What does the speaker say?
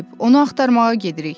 Onu axtarmağa gedirik.